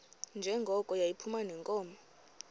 njengoko yayiphuma neenkomo